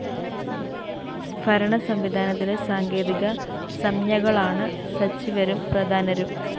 ഭരണസംവിധാനത്തിലെ സാങ്കേതിക സംജ്ഞകളാണ് സചിവരും പ്രധാനരും